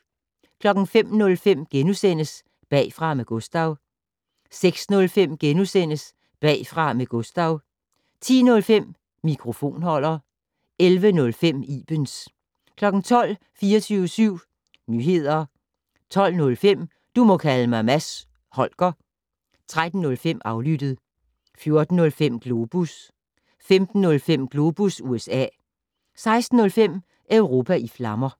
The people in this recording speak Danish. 05:05: Bagfra med Gustav * 06:05: Bagfra med Gustav * 10:05: Mikrofonholder 11:05: Ibens 12:00: 24syv Nyehder 12:05: Du må kalde mig Mads Holger 13:05: Aflyttet 14:05: Globus 15:05: Globus USA 16:05: Europa i flammer